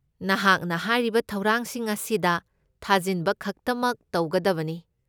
ꯅꯍꯥꯛꯅ ꯍꯥꯏꯔꯤꯕ ꯊꯧꯔꯥꯡꯁꯤꯡ ꯑꯁꯤꯗ ꯊꯥꯖꯤꯟꯕꯈꯛꯇꯃꯛ ꯇꯧꯒꯗꯕꯅꯤ꯫